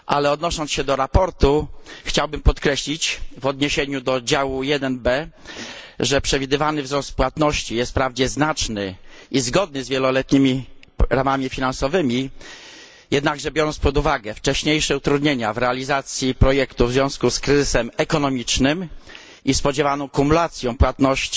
Odnosząc się do sprawozdania chciałbym podkreślić, w odniesieniu do działu 1b, że przewidywany wzrost płatności jest wprawdzie znaczny i zgodny z wieloletnimi ramami finansowymi, jednakże biorąc pod uwagę wcześniejsze utrudnienia w realizacji projektu w związku z kryzysem ekonomicznym i spodziewaną kumulacją płatności